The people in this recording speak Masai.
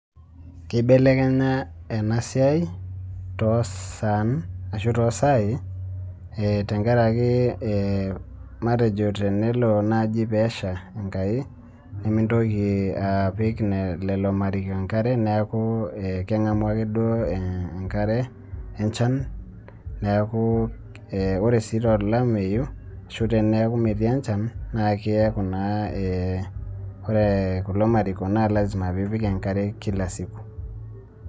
Keibelekenya ena siai too saan ashuu toosaai tenkaraki ee matejo tenelo naaji peesha Enkai mintoki apik lelo mariko enkare. Neeku kengamu akeduo enkare enjan neeku ore sii tolameyu ashuu teneeku metii enjan naa keeku naa ee ore kulo mariko naa lazima pee ipik enkare kila siku.